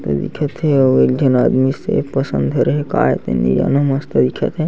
दिखत हे अउ एक झन आदमी सेब असन धरे हे काये तेन नि जानो मस्त दिखत हे।